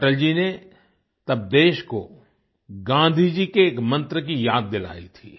अटल जी ने तब देश को गाँधी जी के एक मंत्र की याद दिलायी थी